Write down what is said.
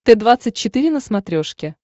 т двадцать четыре на смотрешке